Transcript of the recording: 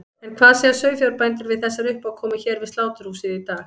En hvað segja sauðfjárbændur við þessari uppákomu hér við sláturhúsið í dag?